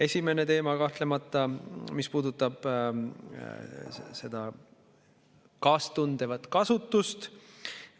Esimene selline teema, kahtlemata, puudutab seda kaastundvat kasutust.